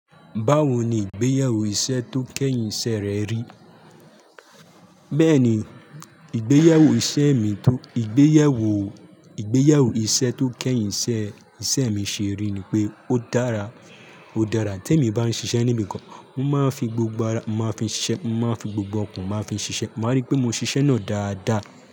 Báwo ni ìgbéyàwó iṣẹ́ tó kẹ́yìn iṣẹ́ rẹ rí? Bẹ́ẹ̀ni, ìgbéyàwó iṣẹ́ mi tó, ìgbéyàwó, ìgbéyàwó iṣẹ́ tó kẹ́yìn iṣẹ́, iṣẹ́ mi ṣe rí ni pé ó dára, ó dára. Tí èmi bá ń ṣiṣẹ́ níbìkan, mo máa ń fi gbogbo ara, mo máa n fi ṣiṣẹ́, mo máa n fi gbogbo ọkàn mo máa n fi ṣiṣẹ́. Maa rí pé mo ṣiṣẹ́ náà dáadáa.